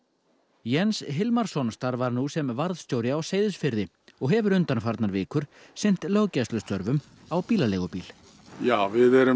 Jens Hilmarsson starfar nú sem varðstjóri á Seyðisfirði og hefur undanfarnar vikur sinnt löggæslustörfum á bílaleigubíl já við erum